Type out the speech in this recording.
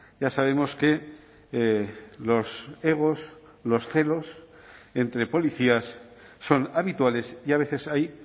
ya sabemos que los egos los celos entre policías son habituales y a veces hay